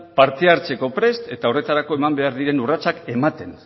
parte hartzeko prest eta horretarako eman behar diren urratsak ematen